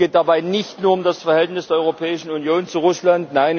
Es geht dabei nicht nur um das Verhältnis der Europäischen Union zu Russland.